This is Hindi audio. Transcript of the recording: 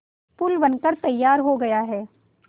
पुल बनकर तैयार हो गया है